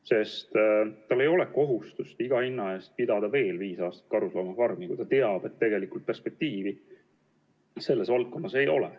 Jah, ettevõtjal ei ole kohustust iga hinna eest pidada veel viis aastat karusloomafarmi, kui ta teab, et tegelikult perspektiivi selles valdkonnas ei ole.